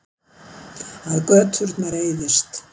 Að göturnar eyðist.